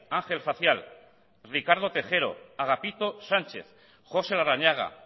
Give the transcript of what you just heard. ángel facial ricardo tejero agapito sánchez josé larrañaga